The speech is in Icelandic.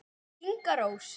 Inga Rós.